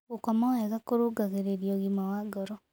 Gũkoma wega kũrũngagĩrĩrĩa wa ngoro